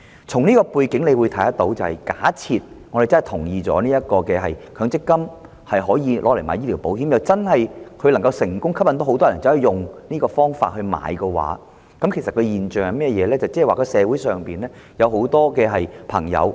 在這個背景下，假設我們贊同將強積金部分供款用作購買醫療保險，而又能成功吸引很多人使用這方法購買醫療保險，這樣的話，究竟會出現一個甚麼現象？